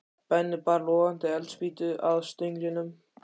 Benni bar logandi eldspýtu að stönglinum.